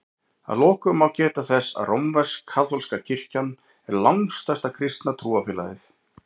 Að lokum má geta þess að rómversk-kaþólska kirkjan er langstærsta kristna trúfélagið.